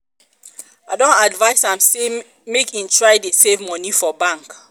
i don advise am sey make e try dey save moni for bank.